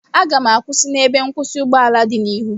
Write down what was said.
Aga m akwụsị n'ebe nkwụsị ụgbọala dị n'ihu